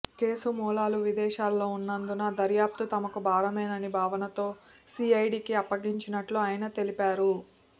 case మూలాలు విదేశాల్లో ఉన్నందున దర్యాఫ్తు తమకు భారమనే భావనతో సీఐడీకి అప్పగించినట్లు ఆయన తెలిపారు